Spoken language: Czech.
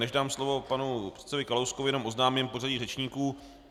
Než dám slovo panu předsedovi Kalouskovi, jenom oznámím pořadí řečníků.